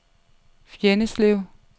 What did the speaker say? Fjenneslev